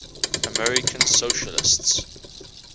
american socialists